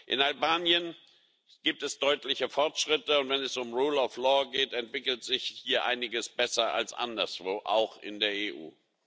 In Albanien gibt es deutliche Fortschritte, und wenn es um Rechtsstaatlichkeit geht, entwickelt sich hier einiges besser als anderswo, auch in der EU.